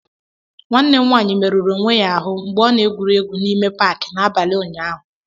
Nwanne m nwaanyị merụrụ onwe ya ahụ mgbe ọ na-egwuri egwu n'ime Paakị n'abalị ụnyaahụ